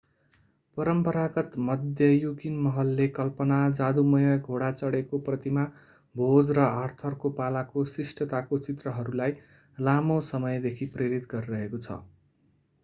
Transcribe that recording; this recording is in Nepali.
परम्परागत मध्ययुगीन महलले कल्पना जादूमय घोडा चढेको प्रतिमा भोज र आर्थरको पालाको शिष्टताको चित्रहरूलाई लामो समयदेखि प्रेरित गरिरहेको छ